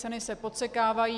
Ceny se podsekávají.